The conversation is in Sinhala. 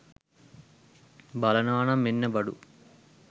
බලනව නම් මෙන්න බඩු.